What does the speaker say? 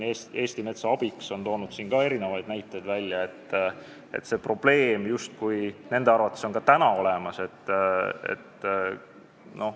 Eesti Metsa Abiks on toonud välja näiteid ja see probleem on nende arvates justkui ka täna olemas.